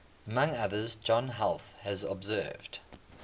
among others john heath has observed